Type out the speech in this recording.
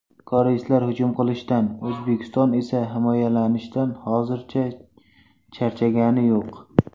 Koreyslar hujum qilishdan O‘zbekiston esa himoyalanishdan hozircha charchagani yo‘q.